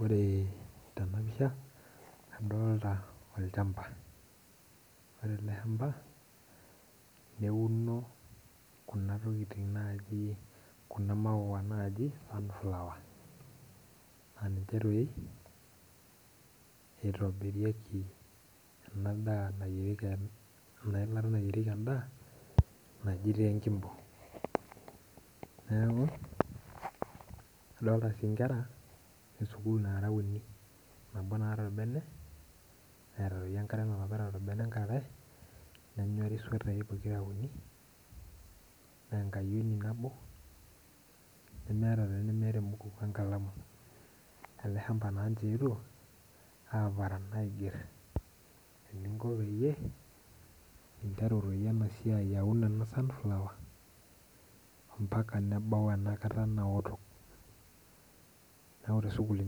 Ore tenapisha adolta olchamba ore eleshamba neuno kuna maua naji sunflower ninche itobirieki enailata nayieriki endaa naji enkimbo neaku adolta si nkera esukul naata orbene neeta enkare neeta swetai pokira uni na enkayioni nabo nemeeta olemeeta enkalamu, eleshamba na ninche eetuo aparan peyieeun ena sunflower mbaka nebau enakta naun tesukul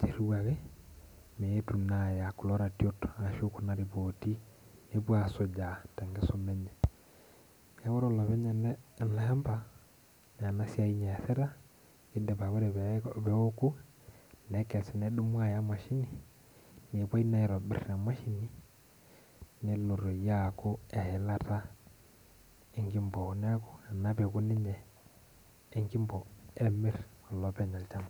kiriwaki meetu aya kuna ratiot ashu kuna ripoti nepuo asujaa tenkisuma enye neaku ore olopeny ele shambana enasia easita na ore peokunekes nedumu aya emashinipelo aitobir nelo toi aaku eilataenkimbo ena olopeny olchamba.